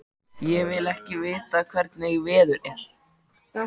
Ég vil ekki vita hvernig veður er.